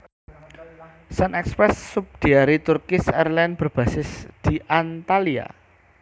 SunExpress subsidiari Turkish Airlines berbasis di Antalya